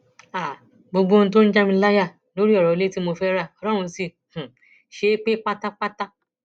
um gbogbo ohun tó ń já mi láyà lórí ọrọ ilé tí mo fẹẹ ra ọlọrun sì um ṣe é pé pátápátá